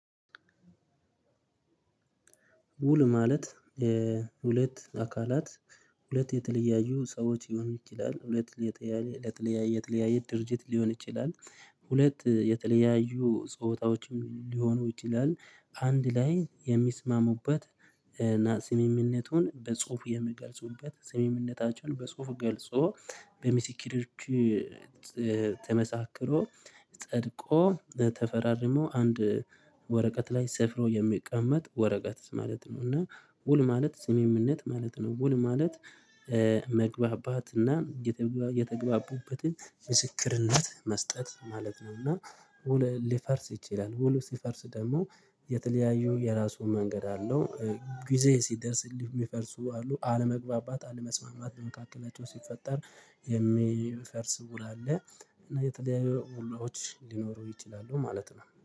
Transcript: ውል ማለት ሁለት አካላት ሁለት የተለያዩ ሰዎች ሊሆኑ ይችላል ሁለት የተለያየ ሁለት የተለያየ የተለያየ ድርጅት ሊሆን ይችላል። ሁለት የተለያዩ ጾታዎችም ሊሆኑ ይችላል። አንድ ላይ የሚስማሙበትና ስምምነቱን በጽሁፉ የሚገልጹበት ስምምነታቸውን በጽሁፉ ገልጾ በምስክር ተመሳክሮ ጸድቆ ተፈራርሞ አንድ ወረቀት ላይ ሰፍሮ የሚቀመጥ ወረቀት ማለት ነው። እና ውል ማለት ስምምነት ማለት ነው። ውል ማለት መግባባትና የተግባቡበትን ምስክርነት መስጠት ማለት ነው። እና ሊፈርስ ይችላልውሉ ሲፈርስ ደግሞ የተለያዩ የራሱ መንገድ አለው። ጊዜ ሲደርስልህ የሚፈርሱ አሉ አለመግባባት አለመስማማት በመካከላቸው ሲፈጠር የሚፈርስ ውል አለ። እና የተለያዩ ውሎዎች ሊኖሩ ይችላሉ ማለት ነው